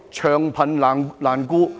長貧難顧。